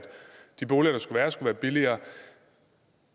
de boliger der skulle være skulle være billigere